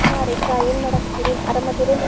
ಹಾ ರೇಖಾ ಏನ್ ಮಾಡಾಕತ್ತಿರಿ ಅರಾಮದೀರಿ?